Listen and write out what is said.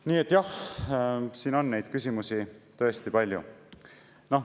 Nii et jah, siin on neid küsimusi tõesti palju.